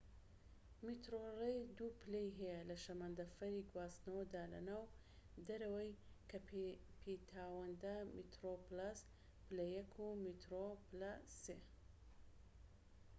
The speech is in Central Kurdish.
میترۆڕەیڵ دوو پلەی هەیە لە شەمەندەفەری گواستنەوەدا لە ناو و دەرەوەی کەیپتاوندا: میترۆپلەس پلە یەك و میترۆ پلە سێ